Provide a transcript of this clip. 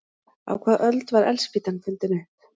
Á hvaða öld var eldspýtan fundin upp?